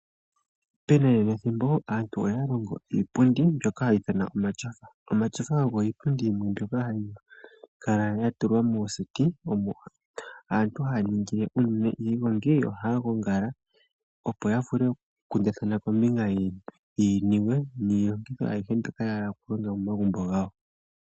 Pethimbo lyanakanena, aantu oya longa iipundi mbyoka ha kuti omashofa. Omashofa ogo iipundi mbuoka hayi kala ya tulwa moseti, imo uunene aantu haya ningile iigongi na ohaya gongala, opo ya vule oku kundathana kombinga yiinima niilongitho ayihe mbyoka yahala oku landa momagumbo gawo